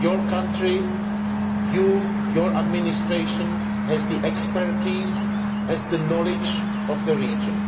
Your county, your administration, has the expertise and the knowledge of the region.